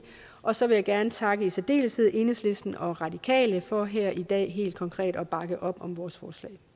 og så vil jeg gerne takke i særdeleshed enhedslisten og radikale for her i dag helt konkret at bakke op om vores